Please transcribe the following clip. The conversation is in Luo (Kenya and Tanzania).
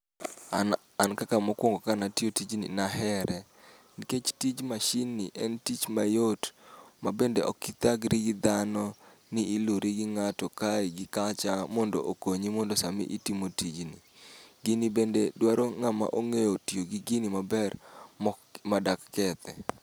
An an kaka mokwongo kanatiyo tijni nahere, nikech tij mashin ni en tich mayot. Ma bende okithagri gi dhano, ni iluri gi ng'ato kae gi kacha mondo okonyi mondo sami itimo tijni. Gini bende dwaro ng'ama ong'eyo tiyo gi gini maber, mok ma dak kethe.